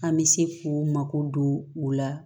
An bɛ se k'u mako don u la